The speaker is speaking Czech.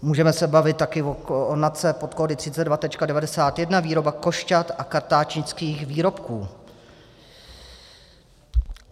Můžeme se bavit také o NACE pod kódy 32.91 - výroba košťat a kartáčnických výrobků.